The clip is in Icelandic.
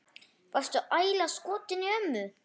Varstu ægilega skotinn í ömmu?